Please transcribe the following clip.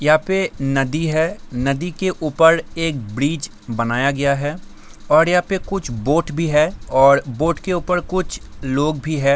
यहाँ पे नदी है नदी के ऊपर एक ब्रिज बनाया गया है और यहाँ पे कुछ बोट भी है और बोट के ऊपर कुछ लोग भी हैं।